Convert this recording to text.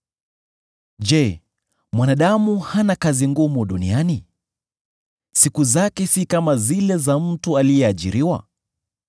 “Je, mwanadamu hana kazi ngumu duniani? Siku zake si kama zile za mtu aliyeajiriwa?